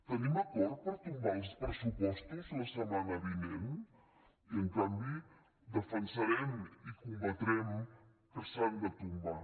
tenim acord per tombar els pressupostos la setmana vinent i en canvi defensarem i combatrem que s’han de tombar